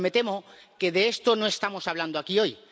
Pero me temo que de esto no estamos hablando aquí hoy.